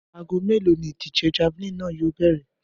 Aago mélòó ni ìdíje̩ javelin náà yóò bè̩rè̩?